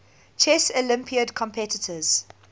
chess olympiad competitors